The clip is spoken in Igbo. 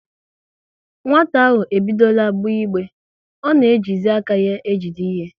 Nwata ahụ ebidora gbe igbe, ọ na ejizi aka ya ejide ihe